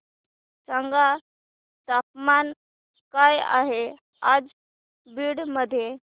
सांगा तापमान काय आहे आज बीड मध्ये